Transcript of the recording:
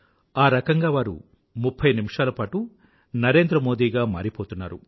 ఆ రకంగా వారు ఆ ముఫ్ఫై నిమిషాల పాటు నరేంద్ర మోదీ గా మారిపోతున్నారు